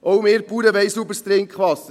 Auch wir Bauern wollen sauberes Trinkwasser;